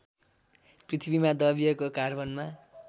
पृथ्वीमा दबिएको कार्बनमा